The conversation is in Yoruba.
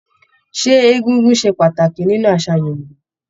Ṣé egúngún ṣe pàtàkì nínú àṣà Yorúbá.